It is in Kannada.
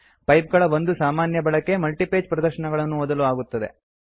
ಪೈಪ್ ಗಳ ಒಂದು ಸಾಮಾನ್ಯ ಬಳಕೆ ಮಲ್ಟಿಪೇಜ್ ಪ್ರದರ್ಶನಗಳನ್ನು ಓದಲು ಆಗುತ್ತದೆ